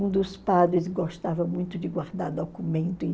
Um dos padres gostava muito de guardar documento.